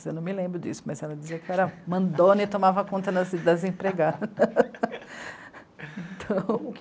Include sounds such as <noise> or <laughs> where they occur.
Eu não me lembro disso, mas ela dizia que era mandona e tomava conta das, das empregadas. <laughs> então